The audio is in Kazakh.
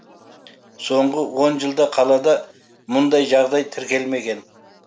соңғы он жылда қалада мұндай жағдай тіркелмеген